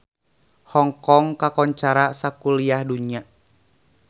Hong Kong kakoncara sakuliah dunya